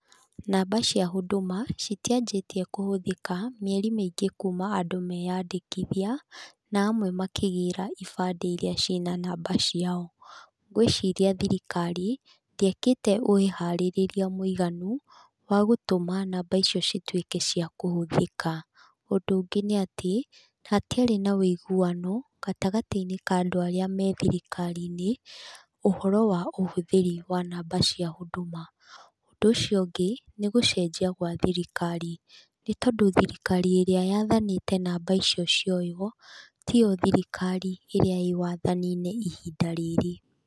Namba cia Huduma citianjĩtie kũhũthĩka mieri mĩingĩ kuma andũ meyandĩkithia na amwe makĩgĩra ibandĩ iria ciĩ na namba ciao. Ngũĩciria thirikari ndĩekĩte wĩharĩria mũiganu wa gũtũma namba icio cituĩke cia kũhũthĩka, ũndũ ũngĩ nĩ atĩ hatiarĩ na ũiguano gatagatĩ -inĩ ka andũ arĩa me thirikari-inĩ ũhoro wa ũhũthĩri wa namba cia Huduma, ũndũ ũcio ũngĩ nĩ gũcenjia gwa thirikari nĩ tondũ thirikari ĩrĩa yathanĩte namba icio cioyũo tiyo thirikari ĩrĩa ĩ wathani-inĩ ihinda rĩrĩ.